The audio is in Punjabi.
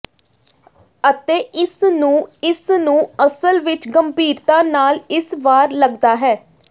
ਅਤੇ ਇਸ ਨੂੰ ਇਸ ਨੂੰ ਅਸਲ ਵਿੱਚ ਗੰਭੀਰਤਾ ਨਾਲ ਇਸ ਵਾਰ ਲੱਗਦਾ ਹੈ